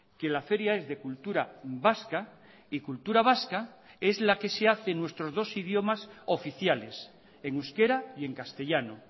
que la feria es de cultura vasca y cultura vasca es la que se hace en nuestros dos idiomas oficiales en euskera y en castellano